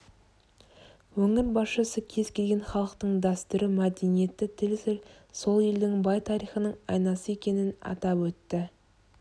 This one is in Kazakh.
өңір басшысы кез келген халықтың дәстүрі мәдениеті тілі сол елдің бай тарихының айнасы екенін атап өтті